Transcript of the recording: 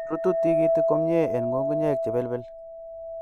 Rutu tikitik komie en ng'ung'unyek chebelbel.